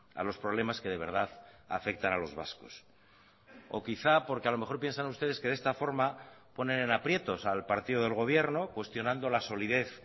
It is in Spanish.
a los problemas que de verdad afectan a los vascos o quizá porque a lo mejor piensan ustedes que de esta forma ponen en aprietos al partido del gobierno cuestionando la solidez